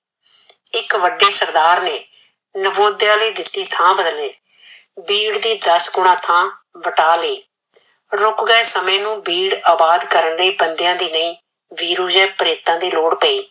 ਇਕ ਵਡੇ ਸਰਦਾਰ ਨੇ ਨਾਵੋਧ੍ਯ ਲਯੀ ਇਕ ਦਿਤੀ ਥਾ ਬਦਲੇ ਬੀਡ ਦੀ ਦਸ ਗੁਣਾ ਥਾ ਵਟਾ ਲਯੀ ਰੁਕਦੇ ਸਮੇ ਨੂ ਬੀਡ ਆਬਾਦ ਕਰਨ ਲਯੀ ਬੰਦਾਯਾ ਦੀ ਨਹੀ ਵੀਰੂ ਹੈ ਪਰੇਤਾ ਦੀ ਲੋੜ ਪ੍ਯੀ